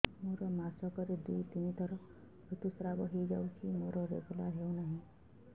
ମୋର ମାସ କ ରେ ଦୁଇ ରୁ ତିନି ଥର ଋତୁଶ୍ରାବ ହେଇଯାଉଛି ମୋର ରେଗୁଲାର ହେଉନାହିଁ